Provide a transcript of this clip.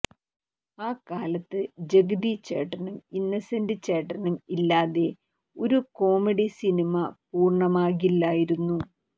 ആ കാലത്ത് ജഗതി ചേട്ടനും ഇന്നസെന്റ് ചേട്ടനും ഇല്ലാതെ ഒരു കോമഡി സിനിമ പൂര്ണമാകില്ലായിരുന്നു